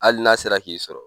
Hali n'a sera k'i sɔrɔ